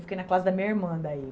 Fiquei na classe da minha irmã.